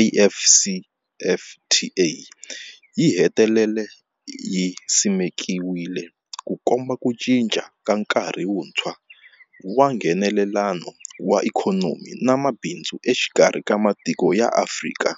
AfCFTA yi hetelele yi simekiwile, Ku komba ku cinca ka nkarhi wuntshwa wa Nghenelelano wa ikhonomi na mabindzu exikarhi ka matiko ya Afrika.